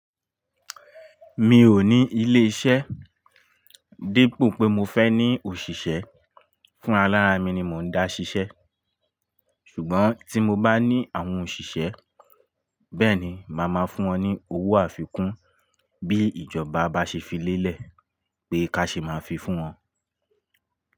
Mi ò ní ilé-iṣẹ́ dípò pé mo fẹ́ ní òṣìṣẹ́. Fún ra lárá mi ni mò ń dá ṣiṣẹ́. Ṣùgbọ́n tí mo bá ní àwọn òṣìṣẹ́, bẹ́ẹ̀ ni, màá máa fún wọn ní owó àfikún bí ìjọba bá ṣe fi lélẹ̀ pé ká ṣe máa fi fún wọn.